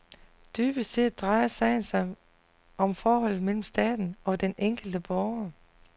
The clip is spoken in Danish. Dybest set drejer sagen sig om forholdet mellem staten og den enkelte borger.